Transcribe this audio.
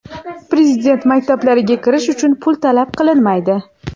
Prezident maktablariga kirish uchun pul talab qilinmaydi.